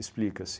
Explica-se.